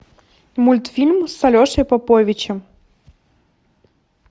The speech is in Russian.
мультфильм с алешей поповичем